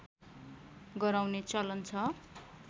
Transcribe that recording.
गराउने चलन छ